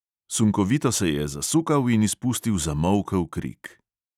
Sunkovito se je zasukal in izpustil zamolkel krik.